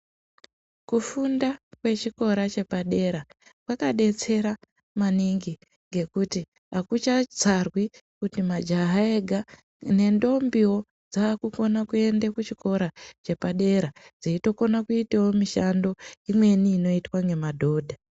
Kufunda kwechikora chepadera kwakadetsera maningi ngekuti hakuchatsarwi kuti majaha ega. Nendombiwo dzakukona kuende kuchikora chepadera dzechitokona kuitawo mishando imweni inoitwa ngemadhodha.